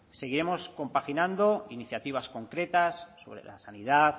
seguiremos compaginando iniciativas concretas sobre la sanidad